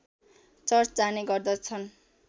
church जाने गर्दछन्